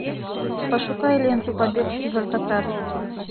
пошукай ленту побег из алькатраса